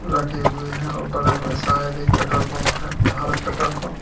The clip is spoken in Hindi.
रखे हुए हैं औ बगल में शायद एक पेट्रोल पंप है भारत पेट्रोल पंप ।